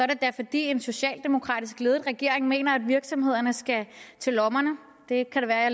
det da fordi en socialdemokratisk ledet regering mener at virksomhederne skal til lommerne det kan være at